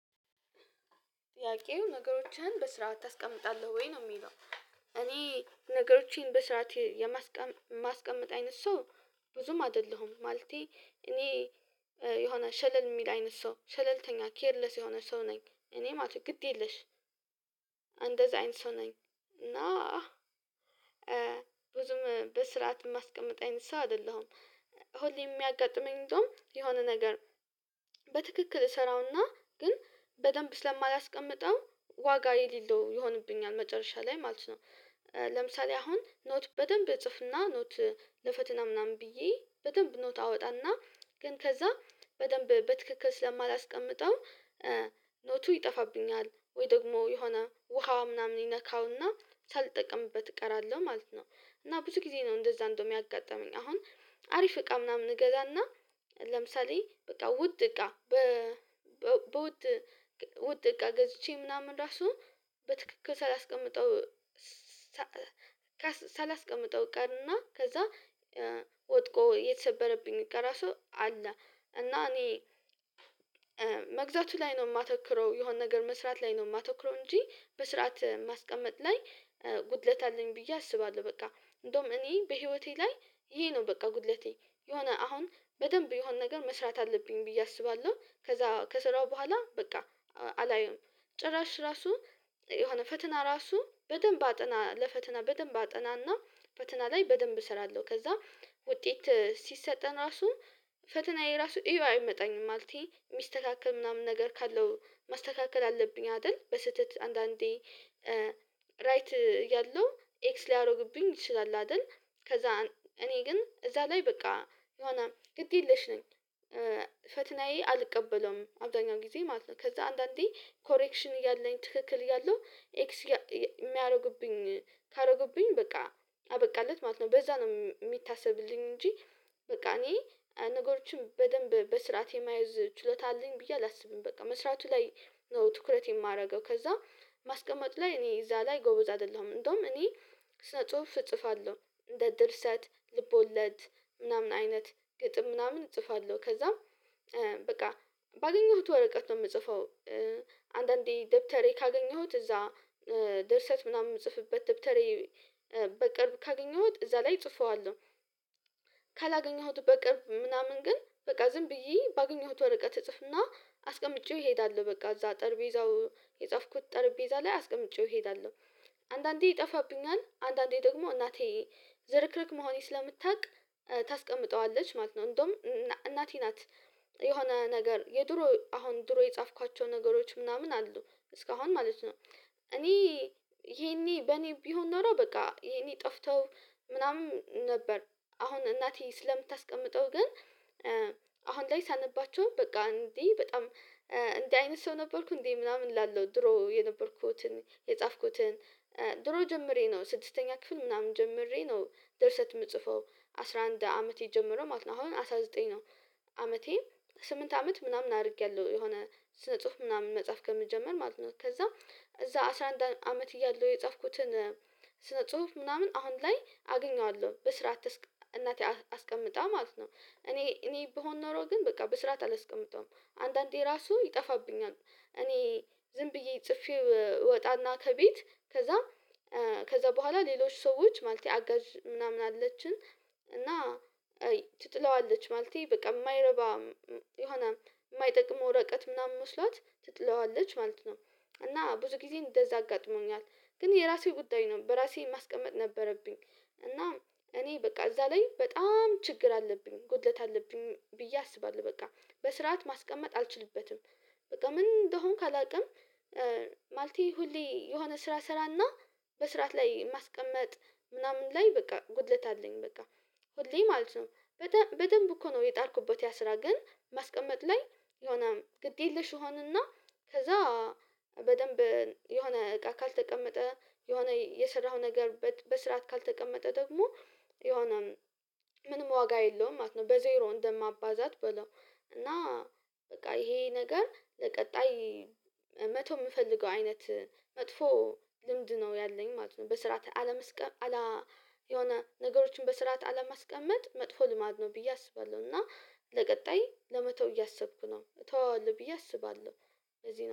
ጥያቄው ነገሮችን በስርዓት ታስቀምጣለህ ወይ ነው የሚለው? እኔ ነገሮቼን በስርዓት የማስቀመጥ አይነት ሰው ብዙም አይደለሁም። ማለቴ እኔ የሆነ ሸለል የሚል አይነት ሰው ሸለልተኛ ኬርለስ የሆነ ሰው ነኝ እኔ ማለት ነው ግድ የለሽ። እንደዛ አይነት ሰው ነኝ። እና ብዙም በስርዓት የማስቀምጥ አይነት ሰው አይደለሁም። ሁሌ የሚያጋጥመኝ እንደዉም የሆነ ነገር በትክክል እሰራውና ግን በደንብ ስለማላስቀምጠው ዋጋ የሌለው ይሆንብኛል መጨረሻ ላይ ማለት ነው። ለምሳሌ አሁን ኖት በደንብ እጽፍና ኖት ለፈተና ምናምን ብዬ በደንብ ኖት አወጣና ግን ከዛ በደንብ በትክክል ስለማላስቀምጠው ኖቱ ይጠፋብኛል ወይ ደግሞ የሆነ ውሃ ምናምን ይነካውና ሳልጠቅምበት እቀራለሁ ማለት ነው። እና ብዙ ጊዜ ነው እንደዛ እንደውም ያጋጠመኝ አሁን አሪፍ እቃ ምናምን እገዛና ለምሳሌ በቃ ውድ እቃ በ በውድ ውድ እቃ ገዝቼ ምናምን ራሱ በትክክል ሳላስቀምጠው። ሳላስቀምጠው ቀርና ከዛ ወድቆ የተሰበረብኝ እቃ ራሱ አለ። እና እኔ መግዛቱ ላይ ነው የማተኩረው የሆነ ነገር መስራት ላይ ነው የማተኩረው እንጂ በስርዓት ማስቀመጥ ላይ ጉድለት አለኝ ብዬ አስባለሁ። በቃ እንደውም እኔ በህይወቴ ላይ ይሄ ነው በቃ ጉድለቴ የሆነ አሁን በደንብ የሆነ ነገር መስራት አለብኝ ብዬ አስባለሁ። ከዛ ከሰራው በኋላ በቃ አላየሁም። ጭራሽ ራሱ የሆነ ፈተና ራሱ በደንብ አጥና ለፈተና በደንብ አጠናና ፈተና ላይ በደንብ እሰራለሁ። ከዛ ውጤት ሲሰጠን ራሱ ፈተናዬ ራሱ እዩ አይመጣኝም ማለቴ የሚስተካከል ምናምን ነገር ካለው ማስተካከል አለብኝ አይደል በስህተት አንዳንዴ ራይት ያለው ኤክስ ሊያደርግብኝ ይችላል አይደል? ከዛ እኔ ግን እዛ ላይ በቃ የሆነ ግድ የለሽ ነኝ። ፈተናዬ አልቀበለውም አብዛኛው ጊዜ ማለት ነው ከዛ አንዳንዴ ኮሬክሽን እያለኝ ትክክል እያለሁ ኤክስ የሚያደርጉብኝ ካደረጉብኝ በቃ አበቃለት ማለት ነው በዛ ነው የሚታሰብልኝ። እንጂ በቃ እኔ ነገሮችን በደንብ በስርዓት የመያዝ ችሎታ አለኝ ብዬ አላስብም። በቃ መስራቱ ላይ ነው ትኩረት የማደርገው። ከዛ ማስቀመጥ ላይ እኔ እዛ ላይ ጎበዝ አይደለሁም። እንደውም እኔ ስነ ጽሁፍ እጽፋለሁ እንደ ድርሰት ልቦለድ ምናምን አይነት ግጥም ምናምን እጽፋለሁ ከዛ በቃ ባገኘሁት ወረቀት ነው የምጽፈው። አንዳንዴ ደብተሬ ካገኘሁት እዛ ድርሰት ምናምን የምጽፍበት ደብተሬ በቅርብ ካገኘሁት እዛ ላይ ጽፈዋለሁ። ካላገኘሁት በቅርብ ምናምን ግን በቃ ዝም ብዬ ባገኘሁት ወረቀት እጽፍና አስቀምጬው እሄዳለሁ በቃ እዛ ጠርጼዛው የጻፍኩት ጠርጼዛ ላይ አስቀምጬው እሄዳለሁ። አንዳንዴ ይጠፋብኛል አንዳንዴ ደግሞ እናቴ ዝርክርክ መሆኔን ስለምታውቅ ታስቀምጠዋለች ማለት ነው። እንደውም እናቴ ናት። የሆነ ነገር የድሮ አሁን ድሮ የጻፍኳቸው ነገሮች ምናምን አሉ እስካሁን ማለት ነው። እኔ ይሄኔ በኔ ቢሆን ኖሮ በቃ ይሄኔ ጠፍተው ምናምን ነበር። አሁን እናቴ ስለምታስቀምጠው ግን አሁን ላይ ሳነባቸው በቃ እንዴ በጣም እንዲህ አይነት ሰው ነበርኩ እንዴ ምናምን እላለው። ድሮ የነበርኩትን የጻፍኩትን ጀምሬ ነው ስድስተኛ ክፍል ምናምን ጀምሬ ነው ደርሰት የምጽፈው። አስራ አንድ ዓመተ ጀምሮ ማለት ነው አሁን አስራ ዘጠኝ ነው። አመቴ ስምንት አመት ምናምን አድርጌያለሁ የሆነ ስነ ጽሁፍ ምናምን መጻፍ ከምጀምር ማለት ነው። ከዛ እዛ አስራ አንድ አመት እያለሁ የጻፍኩትን ስነ ጽሁፍ ምናምን አሁን ላይ አገኘዋለሁ በስርዓት። እናቴ አስቀምጣ ማለት ነው እኔ እኔ ብሆን ኖሮ ግን በቃ በስርዓት አላስቀምጠውም አንዳንዴ ራሱ ይጠፋብኛል። እኔ ዝም ብዬ ጽፌወ እወጣና ከቤት ከዛ ከዛ በኋላ ሌሎች ሰዎች ማለቴ አጋዥ ምናምን አለችን። እና ትጥለዋለች ማለቴ በቃ የማይረባ የሆነ የማይጠቅም ወረቀት ምናምን መስሏት ትጥለዋለች ማለት ነው። እና ብዙ ጊዜ እንደዛ አጋጥሞኛል። ግን የራሴው ጉዳይ ነው በራሴ ማስቀመጥ ነበረብኝ። እና እኔ በቃ እዛ ላይ በጣም ችግር አለብኝ ጉድለት አለብኝ ብዬ አስባለሁ። በቃ በስርዓት ማስቀመጥ አልችልበትም። በቃ ምን እንደሆንኩ አላውቅም። ማለቴ ሁሌ የሆነ ስራ ሰራና በስርዓት ላይ ማስቀመጥ ምናምን ላይ በቃ ጉድለት አለኝ በቃ ሁሌ ማለት ነው። በደንብ እኮ ነው የጣርኩበት ያ ስራ ግን ማስቀመጥ ላይ የሆነ ግድ የለሽ እሆንና። ከዛ በደንብ የሆነ እቃ ካልተቀመጠ የሆነ የሰራኸው ነገር በስርዓት ካልተቀመጠ ደግሞ የሆነ ምንም ዋጋ የለውም ማለት ነው። በዜሮ እንደማባዛት በለው። እና በቃ ይሄ ነገር ለቀጣይ መተው የምፈልገው አይነት መጥፎ ልምድ ነው ያለኝ ማለት ነው። በስርዓተ አለመስቀም የሆነ ነገሮችን በስርዓተ አለማስቀምመጥ መጥፎ ልማድ ነው ብዬ አስባለሁ። እና ለቀጣይ ለመተው እያሰብኩ ነው እተወዋለሁ ብዬ አስባለሁ። እዚህ ነው